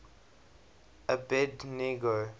abednego